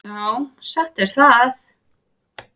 Já, satt er það.